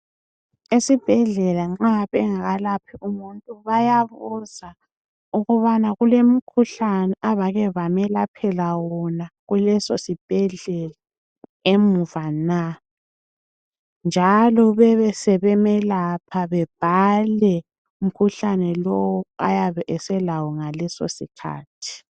Esibhedlela nxa bengakalaphi umuntu bayabuza ukubana kule mkhuhlane abake bamelaphela wona kuleso sibhedlela emuva na njalo bebe sebemelapha babhale umkhuhlane lo oyabe selawo ngaleso sikhathi.